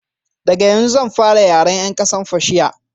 daga yanzu zan fara yaren yan ƙasar fashiya